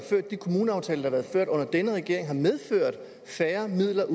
har været ført under denne regering har medført færre midler